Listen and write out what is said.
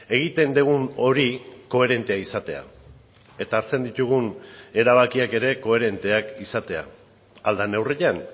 egiten dugun hori koherentea izatea eta hartzen ditugun erabakiak ere koherenteak izatea ahal den neurrian